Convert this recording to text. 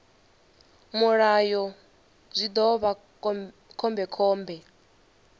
mulayo zwi ḓo vha khombekhombe